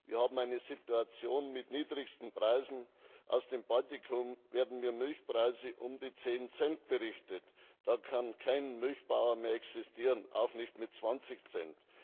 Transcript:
Wir haben eine Situation mit niedrigsten Preisen Aus dem Baltikum werden mir Milchpreise um die zehn Cent berichtet, da kann kein Milchbauer mehr existieren, auch nicht mit 20 Cent.